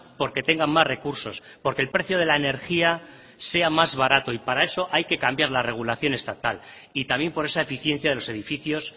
por que tengan más recursos por que el precio de la energía sea más barato y para eso hay que cambiar la regulación estatal y también por esa eficiencia de los edificios